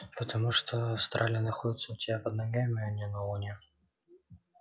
потому что австралия находится у тебя под ногами а не на луне